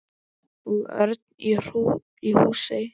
Og Örn í Húsey.